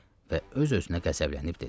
və öz-özünə qəzəblənib dedi: